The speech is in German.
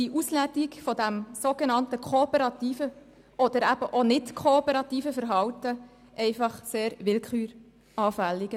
Denn die Auslegung des sogenannt kooperativen oder nicht kooperativen Verhaltens ist sehr willküranfällig.